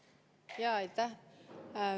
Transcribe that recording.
Aitäh!